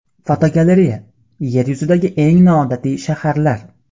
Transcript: Fotogalereya: Yer yuzidagi eng noodatiy shaharlar.